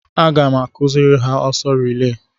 Aga m akụziri ha ọsọ rilee.